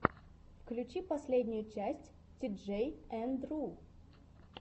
включи последнюю часть тиджей энд ру